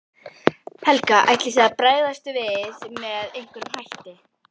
Helga: Ætlið þið að bregðast við með einhverjum hætti?